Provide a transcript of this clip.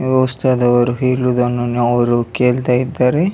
ಅಹ್ ವಸ್ತಾದವರು ಹೇಳುವುದನ್ನು ಅವರು ಕೇಳ್ತಾ ಇದ್ದಾರೆ.